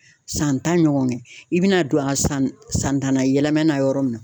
San tan ɲɔgɔn kɛ, i bɛna don a san tan na yɛlɛmana yɔrɔ min na